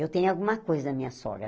Eu tenho alguma coisa da minha sogra.